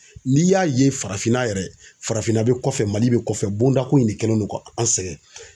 N'i y'a ye farafinna yɛrɛ, farafinna be kɔfɛ Mali be kɔfɛ bonda ko in de kɛlen don ka an sɛngɛ.